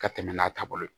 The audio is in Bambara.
Ka tɛmɛ n'a taabolo ye